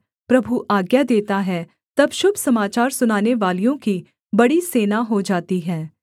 प्रभु आज्ञा देता है तब शुभ समाचार सुनानेवालियों की बड़ी सेना हो जाती है